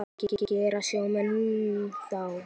Hvað gera sjómenn þá?